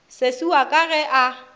sesi wa ka ge a